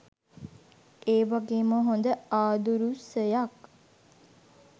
ඒ වගේම හොඳ ආදුරුසයක්.